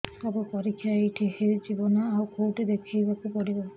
ସବୁ ପରୀକ୍ଷା ଏଇଠି ହେଇଯିବ ନା ଆଉ କଉଠି ଦେଖେଇ ବାକୁ ପଡ଼ିବ